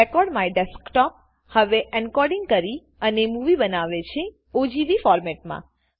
record my desktop હવે encoding કરી અને મુવી બનાવે છે ઓજીવી ફોર્મેટમાં